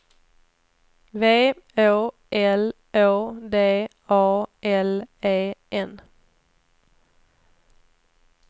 V Å L Å D A L E N